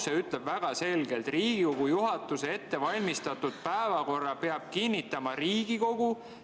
See ütleb väga selgelt: "Riigikogu juhatuse ettevalmistatud päevakorra peab kinnitama Riigikogu.